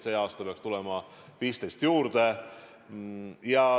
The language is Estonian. See aasta peaks tulema 15 juurde.